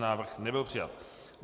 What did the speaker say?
Návrh nebyl přijat.